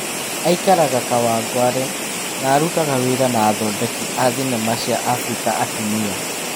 Aikaraga Kawangware, na arutaga wĩra na athondeki a thinema cia Afirika atumia.